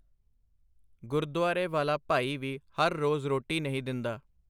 ਗੁਰਦੁਆਰੇ ਵਾਲਾ ਭਾਈ ਵੀ ਹਰ ਰੋਜ਼ ਰੋਟੀ ਨਹੀਂ ਦਿੰਦਾ.